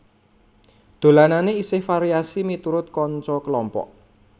Dolanane isih variasi miturut kanca kelompok